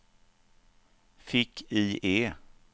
fick-IE